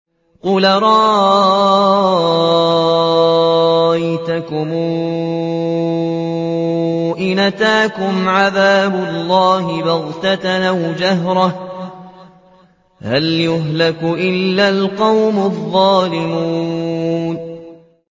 قُلْ أَرَأَيْتَكُمْ إِنْ أَتَاكُمْ عَذَابُ اللَّهِ بَغْتَةً أَوْ جَهْرَةً هَلْ يُهْلَكُ إِلَّا الْقَوْمُ الظَّالِمُونَ